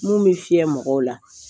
Mun bɛ fiyɛ mɔgɔw la